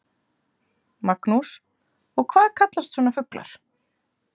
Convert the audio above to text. Magnús: Og hvað kallast svona fuglar?